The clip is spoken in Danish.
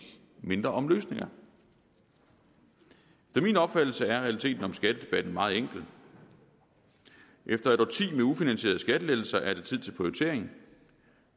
og mindre om løsninger efter min opfattelse er realiteten om skattedebatten meget enkel efter et årti med ufinansierede skattelettelser er det tid til prioritering